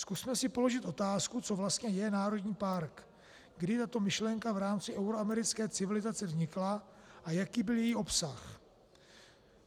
Zkusme si položit otázku, co vlastně je národní park, kdy tato myšlenka v rámci euroamerické civilizace vznikla a jaký byl její obsah.